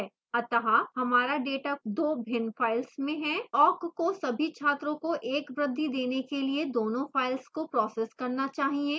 अतः हमारा data दो भिन्न files में है